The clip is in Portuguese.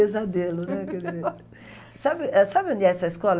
pesadelo, né, o primeiro... Sabe eh sabe onde é essa escola?